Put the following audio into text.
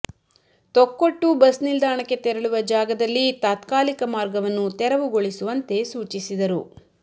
Thokkottu bus ನಿಲ್ದಾಣಕ್ಕೆ ತೆರಳುವ ಜಾಗದಲ್ಲಿ ತಾತ್ಕಾಲಿಕ ಮಾರ್ಗವನ್ನು ತೆರವುಗೊಳಿಸುವಂತೆ ಸೂಚಿಸಿದರು